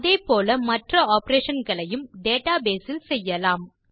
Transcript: இதே போல மற்ற ஆப்பரேஷன் களையும் டேட்டாபேஸ் இல் செய்யலாம்